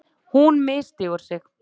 Hún misstígur sig.